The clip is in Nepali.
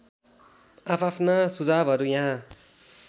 आआफ्ना सुझावहरू यहाँ